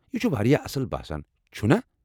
یہِ چھُ وارِیاہ اصل باسان ، چھُنا؟